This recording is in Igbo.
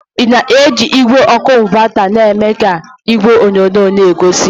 Ị na-eji igwe ọkụ ịnvata mee ka igwe onyonyo n'egosi?